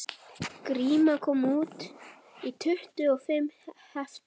Gríma kom út í tuttugu og fimm heftum